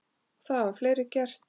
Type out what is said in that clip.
Og það hafa fleiri gert.